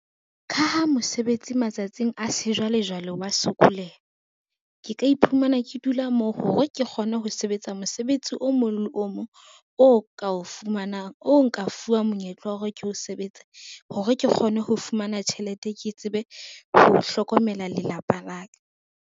Ka ha mosebetsi matsatsing a sejwalejwale wa sokoleha, ke ka iphumana ke dula moo hore ke kgone ho sebetsa mosebetsi o mong le o mong o ka o fumanang, o nka fuwang monyetla wa hore ke o sebetsa hore ke kgone ho fumana tjhelete ke tsebe ho hlokomela lelapa la ka.